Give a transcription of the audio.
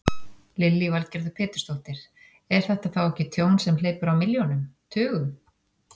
Lillý Valgerður Pétursdóttir: Er þetta þá ekki tjón sem hleypur á milljónum, tugum?